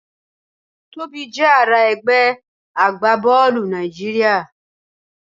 Tobi jẹ ara ẹgbẹ agbabọọlu Naijiria